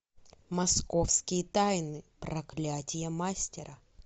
московские тайны проклятие мастера